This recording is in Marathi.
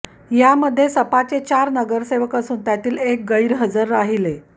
यामध्ये सपाचे चार नगरसेवक असून त्यातील एक गैरहजर राहिले